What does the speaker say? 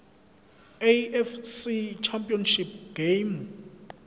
afc championship game